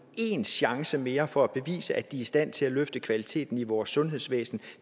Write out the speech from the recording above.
én chance mere for at bevise at de er stand til at løfte kvaliteten i vores sundhedsvæsen